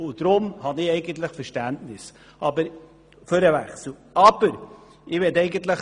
Deshalb habe ich Verständnis für den Kantonswechsel.